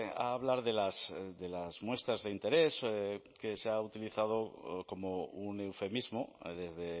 a hablar de las muestras de interés que se ha utilizado como un eufemismo desde